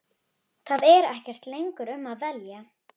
Það er ekkert lengur um að velja.